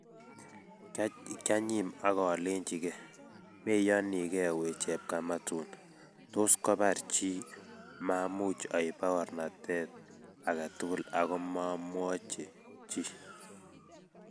kianyim okolenjin ge "Meyoni ge we chepkamatuni ." tos kobar chi. Maamuch oip paornatet agetugul ago moomwochi chi